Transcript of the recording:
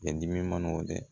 Kɛ dimi manaw dɛ